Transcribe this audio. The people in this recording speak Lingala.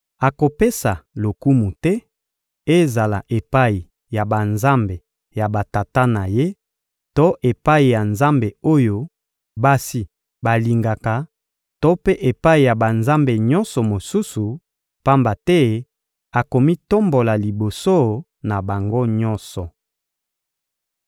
Akopesa lokumu te, ezala epai ya banzambe ya batata na ye to epai ya nzambe oyo basi balingaka to mpe epai ya banzambe nyonso mosusu; pamba te akomitombola liboso na bango nyonso.